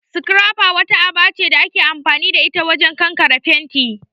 'Scrapper'' wata aba ce da ake amfani da ita wajen kankare fenti